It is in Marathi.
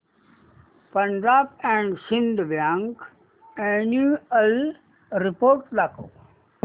Punjab and Sind bank annual report दाखव